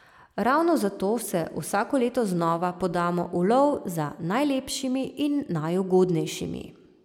Ravno zato se vsako leto znova podamo v lov za najlepšimi in najugodnejšimi.